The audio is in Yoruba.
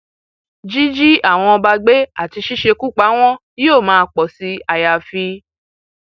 jíjí àwọn ọba gbé àti ṣíṣekú pa wọn yóò máa pọ sí àyàfi